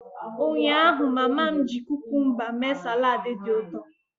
Ụnyaahụ, mama m cucumbers mee salad dị ụtọ